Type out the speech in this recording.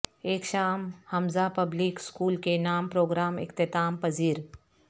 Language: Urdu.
ایک شام حمزہ پبلک اسکول کے نام پروگرام اختتام پذیر